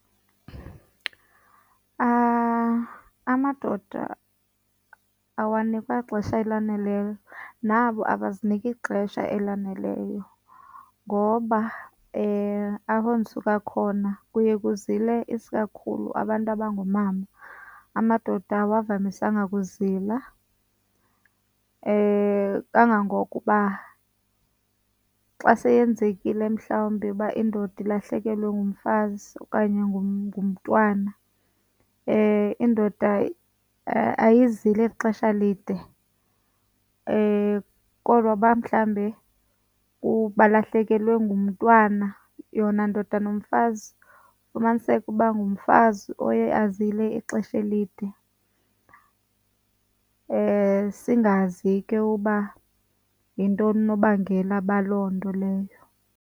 Amadoda awanikwa xesha elaneleyo nabo abaziniki ixesha elaneleyo ngoba apho ndisuka khona kuye kuzile isikakhulu abantu abangoomama. Amadoda awavamisanga kuzila kangangokuba xa seyenzekile mhlawumbi uba indoda ilahlekelwe ngumfazi okanye ngumntwana indoda ayizili xesha lide kodwa uba mhlawumbe balahlekelwe ngumntwana, yona ndodwa nomfazi ufumaniseke uba ngumfazi oye azile ixesha elide. Singazi ke uba yintoni unobangela baloo nto leyo.